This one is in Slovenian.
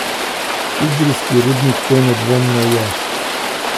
Idrijski rudnik to nedvomno je.